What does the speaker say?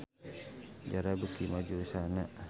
Zara beuki maju usahana